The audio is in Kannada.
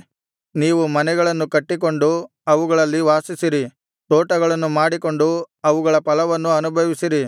ನೀವು ಮನೆಗಳನ್ನು ಕಟ್ಟಿಕೊಂಡು ಅವುಗಳಲ್ಲಿ ವಾಸಿಸಿರಿ ತೋಟಗಳನ್ನು ಮಾಡಿಕೊಂಡು ಅವುಗಳ ಫಲವನ್ನು ಅನುಭವಿಸಿರಿ